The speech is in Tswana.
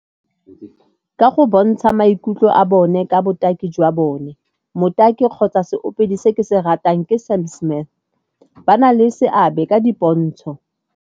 Ka go bontsha maikutlo a bone ka botaki jwa bone. Motaki kgotsa seopedi se ke se ratang ke Sam Smith, ba na le seabe ka di pontsho.